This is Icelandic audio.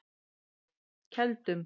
Keldum